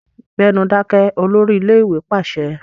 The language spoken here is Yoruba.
Gbẹ́nu dákẹ́! Olórí ilé-ìwé pàṣẹ.